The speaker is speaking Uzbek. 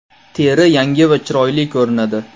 Teri yangi va chiroyli ko‘rinadi.